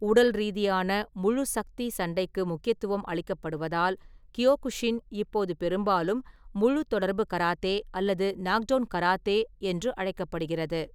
உடல்ரீதியான, முழு-சக்தி சண்டைக்கு முக்கியத்துவம் அளிக்கப்படுவதால், கியோகுஷின் இப்போது பெரும்பாலும் “முழு-தொடர்பு கராத்தே” அல்லது “நாக்டவுன் கராத்தே” என்று அழைக்கப்படுகிறது.